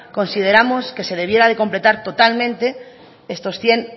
consideramos que se debiera de completar totalmente estos cien